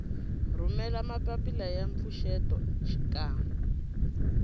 rhumela mapapila ya mpfuxeto xikan